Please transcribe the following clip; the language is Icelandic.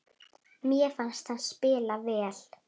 Mér fannst hann spila vel.